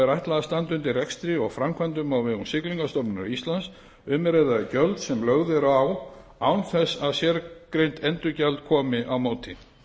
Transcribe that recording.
ætlað að standa undir rekstri og framkvæmdum á vegum siglingastofnunar íslands um er að ræða gjöld sem lögð eru á án þess að sérgreint endurgjald komi á móti